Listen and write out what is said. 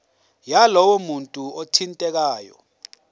yalowo muntu othintekayo